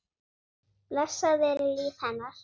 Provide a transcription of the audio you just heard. Blessað veri líf hennar.